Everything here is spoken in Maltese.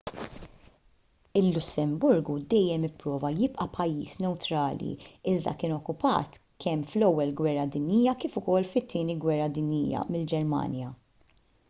il-lussemburgu dejjem ipprova jibqa' pajjiż newtrali iżda kien okkupat kemm fl-ewwel gwerra dinjija kif ukoll fit-tieni gwerra dinjija mill-ġermanja